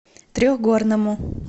трехгорному